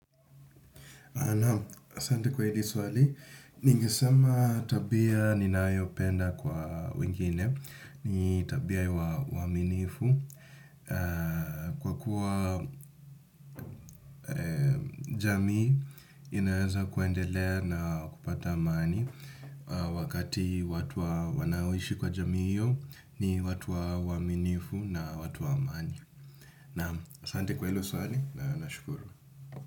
Asante kwa hili swali ningesema tabia ninayopenda kwa wengine ni tabia ya uaminifu kwa kuwa jamii inaweza kuendelea na kupata amani wakati watu wanaoishi kwa jamii hiyo ni watu wa waaminifu na watu wa amani. Asante kwa hilo swali, na nashukuru.